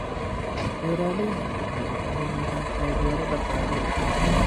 Beeraleydu waxay u baahan yihiin taageero dhaqaale